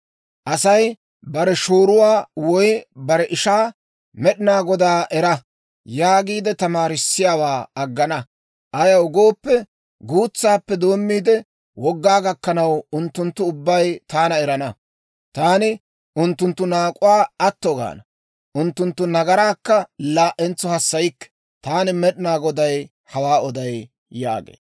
Asay bare shooruwaa woy bare ishaa, ‹Med'inaa Godaa era› yaagiide tamaarissiyaawaa aggana; ayaw gooppe, guutsaappe doommiide, wogaa gakkanaw, unttunttu ubbay taana erana. Taani unttunttu naak'uwaa atto gaana; unttunttu nagaraakka laa"entso hassaykke. Taani Med'inaa Goday hawaa oday» yaagee.